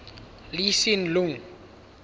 lee hsien loong